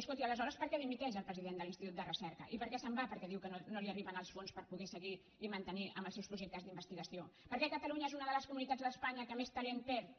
escolti aleshores per què dimiteix el president de l’institut de recerca i per què se’n va perquè diu que no li arriben els fons per seguir i mantenir els seus projectes d’investigació per què catalunya és una de les comunitats d’espanya que més talent perd